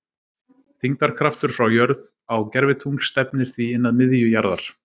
þyngdarkraftur frá jörð á gervitungl stefnir því inn að miðju jarðar